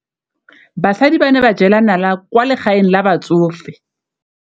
Basadi ba ne ba jela nala kwaa legaeng la batsofe.